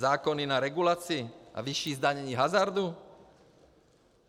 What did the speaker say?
Zákony na regulaci a vyšší zdanění hazardu.